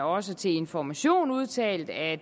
også til information udtalt at